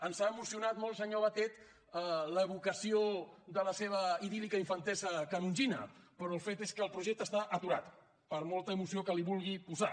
ens ha emocionat molt senyor batet l’evocació de la seva idíl·lica infantesa canongina però el fet és que el projecte està aturat per molta emoció que hi vulgui posar